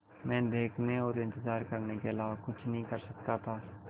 मैं देखने और इन्तज़ार करने के अलावा कुछ नहीं कर सकता था